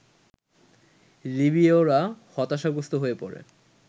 লিবীয়রা হতাশাগ্রস্ত হয়ে পড়ে